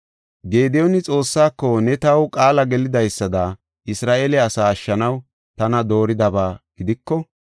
Gediyooni Xoossaako, “Ne taw qaala gelidaysada Isra7eele asaa ashshanaw tana dooridaba gidiko,